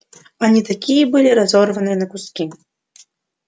они также были разорваны на куски